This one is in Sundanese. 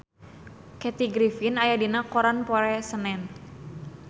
Kathy Griffin aya dina koran poe Senen